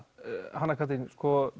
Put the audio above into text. Hanna Katrín